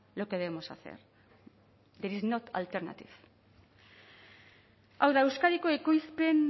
lo que debemos hacer pero is not alternative hau da euskadiko ekoizpen